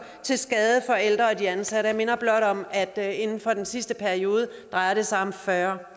til skade for de ældre og de ansatte jeg minder blot om at inden for den sidste periode drejer det sig om fyrre